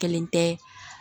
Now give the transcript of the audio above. Kelen tɛ